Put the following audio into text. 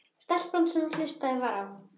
Stelpa sem hlustað var á.